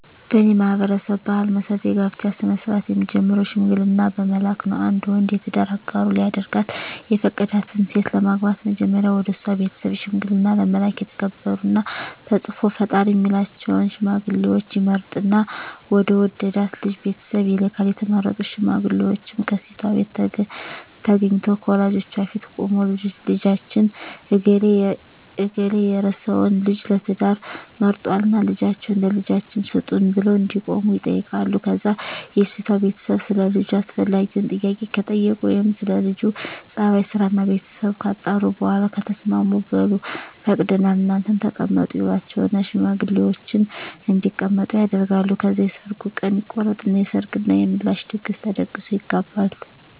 በኔ ማህበረሰብ ባህል መሰረት የጋብቻ ስነ-ስርአት የሚጀምረው ሽምግልና በመላክ ነው። አንድ ወንድ የትዳር አጋሩ ሊያደርጋት የፈቀዳትን ሴት ለማግባት መጀመሪያ ወደሷ ቤተሰብ ሽምግልና ለመላክ የተከበሩና ተጽኖ ፈጣሪ ሚላቸውን ሽማግሌወች ይመርጥና ወደ ወደዳት ልጅ ቤተሰብ ይልካል፣ የተመረጡት ሽማግሌወችም ከሴቷቤት ተገንተው ከወላጆቿ ፊት ቁመው ልጃችን እገሌ የርሰወን ልጅ ለትዳር መርጧልና ልጃችሁን ለልጃችን ስጡን ብለው እንደቆሙ ይጠይቃሉ ከዛ የሴቷ ቤተሰብ ሰለ ልጁ አስፈላጊውን ጥያቄ ከጠየቁ ወይም ስለ ለጁ ጸባይ፣ ስራና ቤተሰቡ ካጣሩ በኋላ ከተስማሙ በሉ ፈቅደናል እናንተም ተቀመጡ ይሏቸውና ሽማግሌወችን እንዲቀመጡ ያደርጋሉ። ከዛ የሰርጉ ቀን ይቆረጥና የሰርግ እና የምላሽ ድግስ ተደግሶ ይጋባሉ።